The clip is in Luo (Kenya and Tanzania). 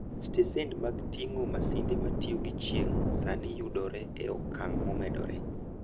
Stesen mag ting'o masinde ma tiyo gi chieng' sani yudore e okang' momedore.